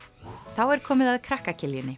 þá er komið að krakka